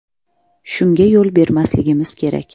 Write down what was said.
Shunga yo‘l bermasligimiz kerak.